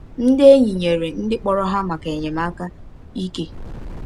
Ndị enyi nyere ndị kpọrọ ha maka enyemaka ike.